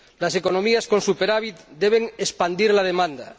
Las economías con superávit deben expandir la demanda.